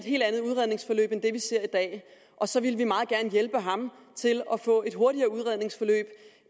helt andet udredningsforløb end det vi ser i dag og så ville vi meget gerne hjælpe ham til at få et hurtigere udredningsforløb